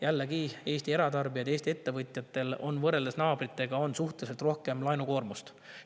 Jällegi, Eesti eratarbijatel ja ettevõtjatel on võrreldes naabritega suhteliselt suurem laenukoormus.